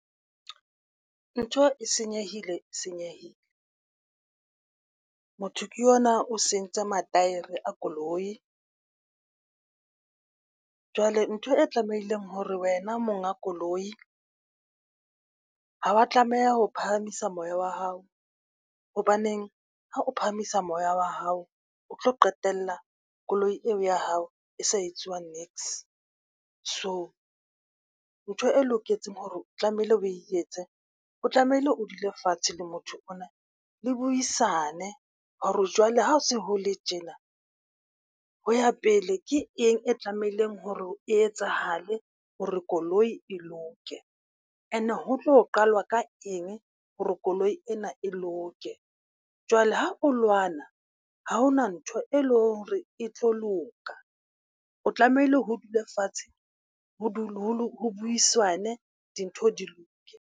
Ntho e senyehile senyehile. Motho ke yona o sentse ma-tyre a koloi. Jwale ntho e tlamehileng hore wena monga koloi, ha wa tlameha ho phahamisa moya wa hao. Hobaneng ha o phahamisa moya wa hao o tlo qetella koloi eo ya hao e sa etsuwa niks. So ntho e loketseng hore o tlamehile o e etse, o tlamehile o dule fatshe le motho ona le buisane hore jwale ho se hole tjena ho ya pele, ke eng e tlamehileng hore e etsahale hore koloi e loke and ho tlo qalwa ka eng hore koloi ena e loke? Jwale ha o lwana, ha hona ntho e leng hore e tlo loka o tlamehile ho dulefatshe ho dule ho buisanwe. Dintho di loke.